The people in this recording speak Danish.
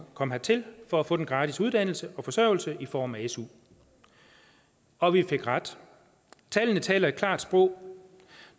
kom hertil for at få den gratis uddannelse og forsørgelse i form af su og vi fik ret tallene taler deres klare sprog